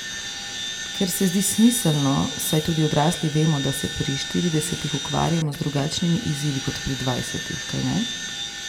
Kar se zdi smiselno, saj tudi odrasli vemo, da se pri štiridesetih ukvarjamo z drugačnimi izzivi kot pri dvajsetih, kajne?